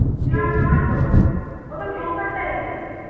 না নয় তোও তো type এর